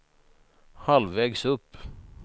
halvvägs upp